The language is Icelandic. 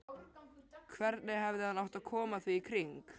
Hvernig hefði hann átt að koma því í kring?